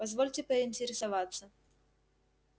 позвольте поинтересоваться